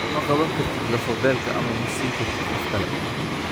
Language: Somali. Ma "qaban kartid" lafo-beelka ama ma siin kartid qof kale.